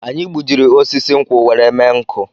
Anyị gbujiri osisi nkwụ were mme nkụ